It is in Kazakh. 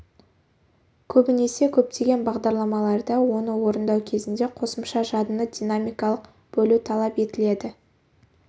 көбінесе көптеген бағдарламаларда оны орындау кезінде қосымша жадыны динамикалық бөлу талап етіледі